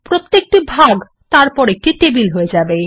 প্রত্যেকটি ভাগ তারপর একটা টেবিল হয়ে যাবে